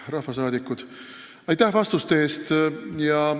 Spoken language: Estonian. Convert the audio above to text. Proua minister, aitäh vastuste eest!